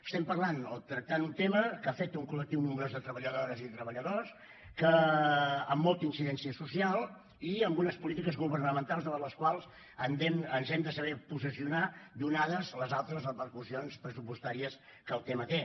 estem parlant o tractant un tema que afecta un col·lectiu nombrós de treballadores i de treballadors amb molta incidència social i amb unes polítiques governamentals davant les quals ens hem de saber posicionar donades les altes repercussions pressupostàries que el tema té